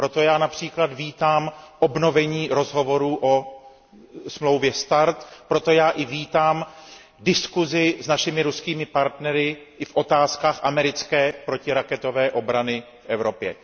Proto já například vítám obnovení rozhovorů o smlouvě START, proto já vítám diskusi s našimi ruskými partnery i v otázkách americké protiraketové obrany v Evropě.